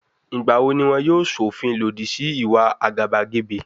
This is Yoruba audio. Ìgbà wo ni wọn yóò ṣọ̀fin lòdì sí ìwà àgàbàgebè?